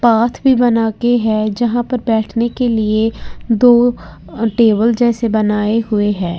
Path भी बना के है जहां पर बैठने के लिए दो अ टेबल जैसे बनाई हुई हैं।